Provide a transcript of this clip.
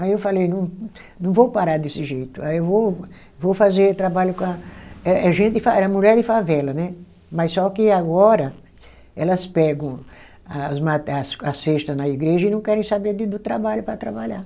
Aí eu falei, não não vou parar desse jeito, aí eu vou, vou fazer trabalho com a, eh eh gente de fave, é mulher de favela né, mas só que agora elas pegam a os mate, a a cesta na igreja e não querem saber do trabalho para trabalhar.